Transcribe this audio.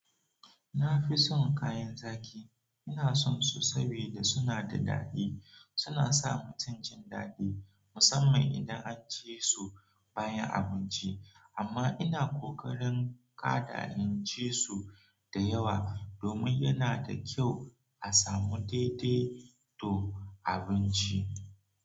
Na fi son kayan zaƙi, ina son su sabida suna da daɗi. Suna sa mutum jin daɗi musamman idan an ci su bayan abinci. Amma ina ƙoƙarin kada in ci su da yawa domin yana da kyau a samu daidai to abinci.